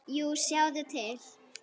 Jú, sjáðu til!